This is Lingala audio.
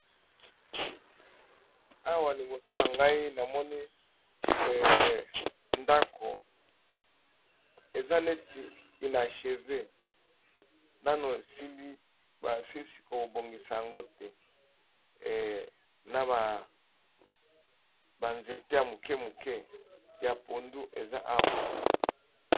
Awa liboso na ngai namoni ndako eza neti inacheve nano esili basilisi kobongisa yango te na ba nzete ya moke moke ya pondu eza awa.